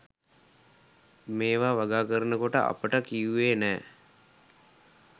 මේවා වගා කරනකොට අපට කිව්වේ නෑ